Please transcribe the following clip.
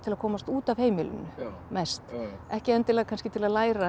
að komast út af heimilinu mest ekki endilega kannski til að læra